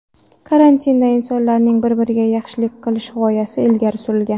Kartinada insonlarning bir-biriga yaxshilik qilish g‘oyasi ilgari surilgan.